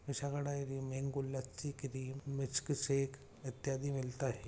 Vishaka dairy मे गुलक सी क्रीम मिल्कशेक इत्यादि मिलता है।